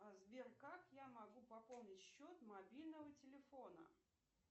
сбер как я могу пополнить счет мобильного телефона